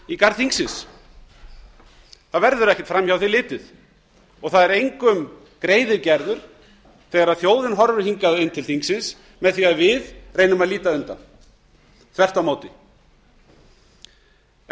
í garð þingsins það verður ekki framhjá því litið og það er engum greiði gerður þegar þjóðin horfir hingað inn til þingsins með því að við reynum að líta undan þvert á móti en